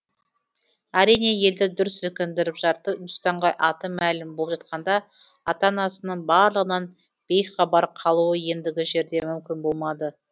әрине елді дүр сілкіндіріп жарты үндістанға аты мәлім болып жатқанда ата анасының барлығынан бейхабар қалуы ендігі жерде мүмкін болмады